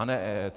A ne EET.